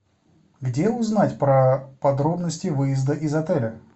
где узнать про подробности выезда из отеля